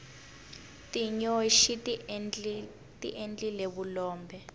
tinyoxi tiendlile vulombe